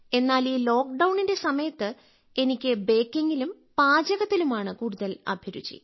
എന്നാൽ ഈ ലോക്ക്ഡൌണിന്റെ സമയത്ത് എനിക്ക് ബേക്കിംഗിലും പാചകത്തിലുമാണ് കൂടുതൽ അഭിരുചി